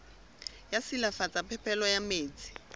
sa silafatsa phepelo ya metsi